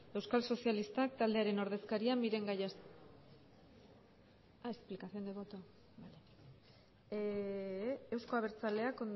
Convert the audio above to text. euskal sozialistak taldearen ordezkaria miren gallastegui ez du hitzik hartuko euzko abertzaleak